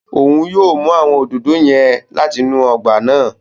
Òun yóò mú awọn òdòdó yẹn láti inú ọgba náà